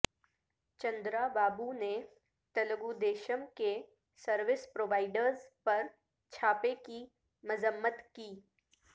چندرابابو نے تلگودیشم کے service providers پر چھاپے کی مذمت کی